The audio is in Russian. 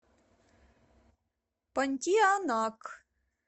понтианак